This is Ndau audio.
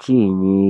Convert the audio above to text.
chiinyi.